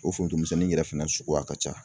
O forontomisɛnnin yɛrɛ fana suguya ka ca.